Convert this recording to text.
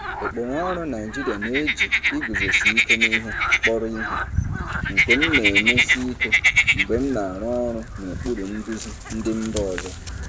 Ụkpụrụ ọrụ Naijiria na-eji iguzosi ike n'ihe kpọrọ ihe, nke m na-emesi ike mgbe m na-arụ ọrụ n'okpuru nduzi ndị mba ọzọ.